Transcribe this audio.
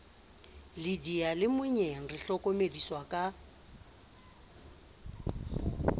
le diyalemoyeng re hlokomediswa ka